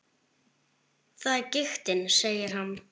Það er giktin, segir hann.